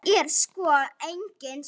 Þetta er sko engin skræpa.